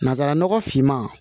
Nanzara nɔgɔ finman